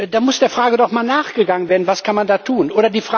Da muss der Frage doch mal nachgegangen werden, was man da tun kann.